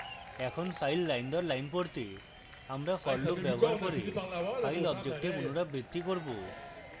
এখন file line দর line পড়তে আমরা for loop ব্যবহার করে file object we পুনরাবৃত্তি করব